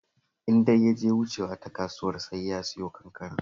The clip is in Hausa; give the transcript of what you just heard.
In dai ya je wucewa ta kasuwar sai ya siyo kankana